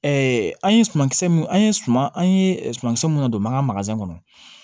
an ye sumankisɛ min an ye suman an ye sumankisɛ minnu don manka kɔnɔ